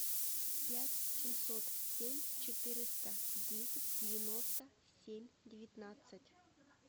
пять семьсот семь четыреста десять девяносто семь девятнадцать